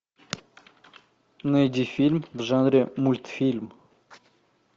найди фильм в жанре мультфильм